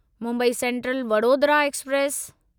Mumbai central Vadodara express